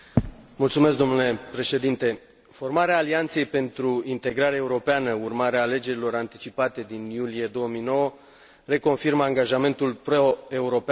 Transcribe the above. Formarea Alianței pentru Integrare Europeană, urmare a alegerilor anticipate din iulie 2009, reconfirmă angajamentul proeuropean al cetățenilor din Republica Moldova.